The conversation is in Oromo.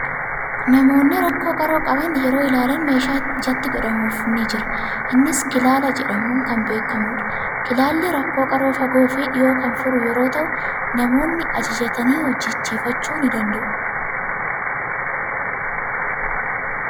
Namoonni rakkoo qaroo qaban yeroo ilaalan meeshaan ijatti godhamuufii ni jira. Innis kilaala jedhamuun beekama. Kilaalli rakkoo qaroo fagoo fii dhiyoo kan furu yeroo ta'u, namoonni ajajatanii hojjechiifachuu ni danda'u.